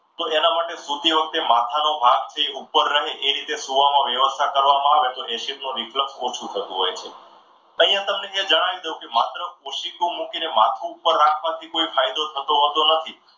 તો એના માટે સુતી વખતે માથાનો જે ભાગ છે એ ઉપર રહે એ રીતે સુવાની વ્યવસ્થા કરવામાં આવે તો acid નું reflect માં ઓછું થતું હોય છે. અહીંયા હું તમને જણાવી દઉં કે માત્ર ઓશીકું મૂકીને માથું ઉપર રાખવાથી કોઈ ફાયદો થતો હોતો નથી.